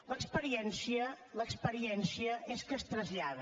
l’experiència l’experiència és que es trasllada